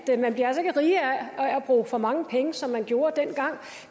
bruge for mange penge som man gjorde dengang